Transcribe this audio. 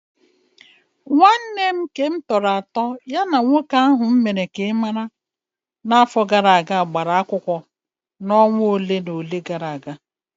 Nwanne m nke m tọrọ atọ ya na nwoke m mere ka ị mara n'afọ gara aga gbara akwụkwọ na onwa olé na olé gara aga.